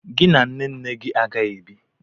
Gị na nne nne gị a ga-ebi?